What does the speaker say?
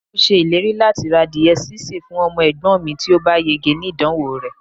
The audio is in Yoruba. mo ṣèlérí lati ra adìye sise fún ọmọ egbon mi ti o ba yege ni idanwo re